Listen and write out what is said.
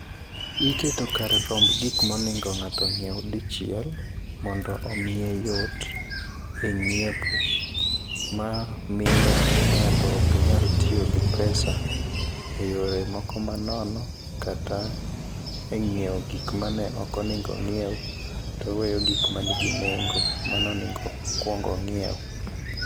Niketo kar rombgi kuma onego nyiewu dichiel mondo omiye yot e nyiepo. Ma miyo ng'ato ok nyal tiyo gi pesa e yore moko ma nono kaka e nyiewo gik maneno konego ong'iew, toweyo gik manigi nengo manonego okuong ong'iew.